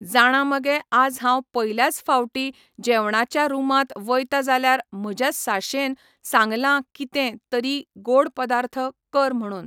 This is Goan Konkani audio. जाणां मगे आज हांव पयल्याच फावटीं जेवणाच्या रूमांत वयतां जाल्यार म्हज्या साशेन सांगलां कितें तरी गोड पदार्थ कर म्हणून